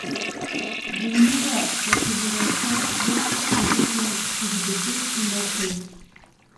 Zanimivo, saj so bile vse zveste podjetjem tudi deset in več let.